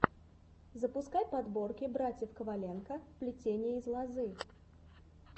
запускай подборки братьев коваленко плетение из лозы